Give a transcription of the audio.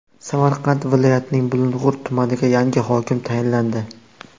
Samarqand viloyatining Bulung‘ur tumaniga yangi hokim tayinlandi.